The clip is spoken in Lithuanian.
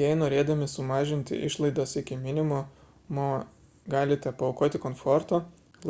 jei norėdami sumažinti išlaidas iki minimumo galite paaukoti komforto